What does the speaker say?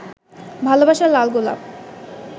ভালবাসার লাল গোলাপ